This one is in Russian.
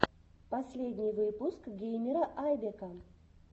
последний выпуск геймера айбека